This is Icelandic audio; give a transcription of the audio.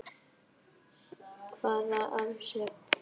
Hvaða aðferð sé best.